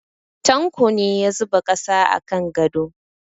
Tanko ne ya zuba ƙasa a kan gado.